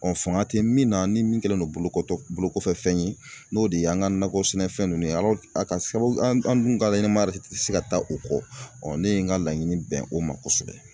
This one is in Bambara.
faŋa tɛ nin na ni nin kɛlen don bolokɔtɔ bolokɔfɛfɛn ye n'o de an ŋa nakɔ sɛnɛfɛn ninnu ye a k'a sababu an' an' dun ka ɲɛnɛmaya yɛrɛ ti se ka taa o kɔ. ne ye ŋa laɲini bɛn o ma kosɛbɛ.